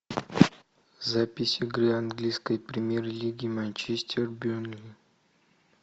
запись игры английской премьер лиги манчестер бернли